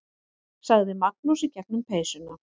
sagði Magnús í gegnum peysuna.